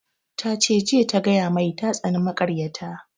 Ya ce jiya ta gaya mai ta tsani makaryata